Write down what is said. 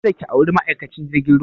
Ka da ki auri ma'aikacin jirgin ruwa!